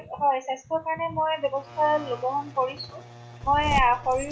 হয় স্বাস্থ্যৰ কাৰণে মই ব্য়ৱস্থা কৰিছো । হয় আ শৰীৰ